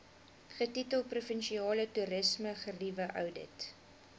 getitel provinsiale toerismegerieweoudit